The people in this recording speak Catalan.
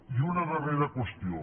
i una darrera qüestió